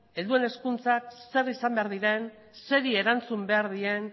helduen hezkuntzak zer izan behar diren zeri erantzun behar dien